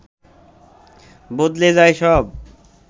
বদলে যায় সব